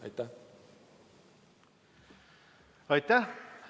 Aitäh!